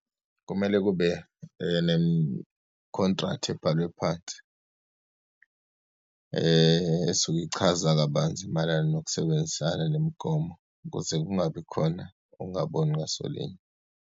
Kumele kube ne-contract ebhalwe phansi, esuke ichaza kabanzi mayelana nokusebenzisana nemigomo, ukuze kungabikhona ukungaboni ngasolinyo.